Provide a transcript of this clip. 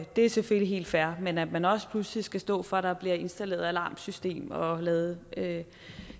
det er selvfølgelig helt fair men at man også pludselig skal stå for at der bliver installeret alarmsystem og lavet